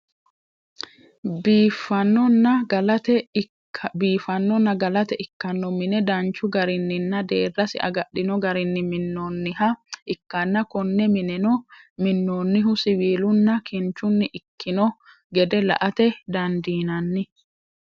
biifannoha galate ikkanno mine danchu garinninna deerrasi agadhino garinni minnoonniha ikkanna konne mineno minnoonnihu siwiilunna kinchunni ikkino gede la'ate dandiinanni.